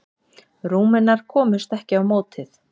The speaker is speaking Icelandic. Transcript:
Rúmenar komust ekki á mótið.